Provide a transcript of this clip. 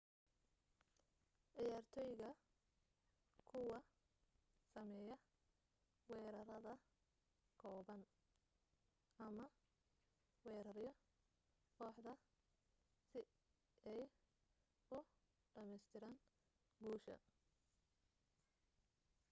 ciyaartoyga kuwa sameya weerarada kooban ama werarayo kooxda si ay u dhameestiran guusha